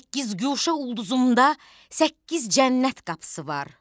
Səkkizguşə ulquzumda səkkiz cənnət qapısı var.